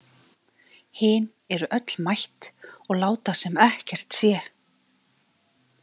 Hin eru öll mætt og láta sem ekkert sé.